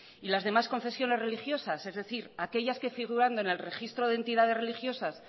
y las demás confesiones religiosas es decir aquellas que figurando en el registro de entidades religiosas